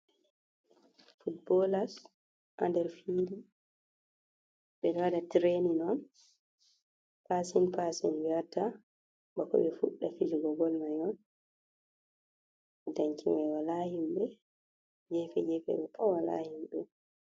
Fotbolass ha nɗer fili. Beɗo waɗa tirainin on. Pasin pasin be watta bako be fuɗɗa fijugo bol mai on. Ɗanki mai wala himbe. Gefe gefe mai pat wala himbe.